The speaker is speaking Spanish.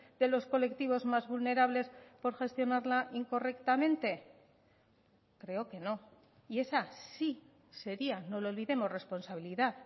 de los colectivos más vulnerables por gestionarla incorrectamente creo que no y esa sí sería no lo olvidemos responsabilidad